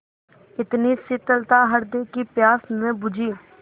इतनी शीतलता हृदय की प्यास न बुझी